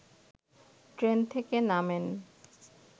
train থেকে নামেন